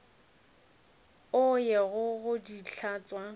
o ye go di hlatswa